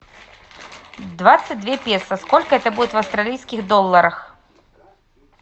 двадцать две песо сколько это будет в австралийских долларах